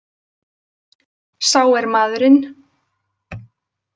Sá er maðurinn.